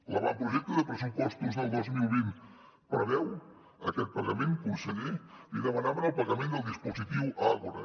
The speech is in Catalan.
l’avantprojecte de pressupostos del dos mil vint preveu aquest pagament conseller li demanaven el pagament del dispositiu àgora